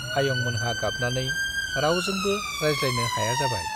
आयं मोनहा गाबनानै रावजोंबो रायज्लायनो हाया जाबाय।